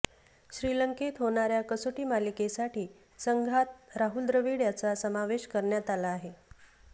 श्रीलंकेत होणार्या कसोटी मालिकेसाठी संघात राहुल द्रविड याचा समावेश करण्यात आला आहे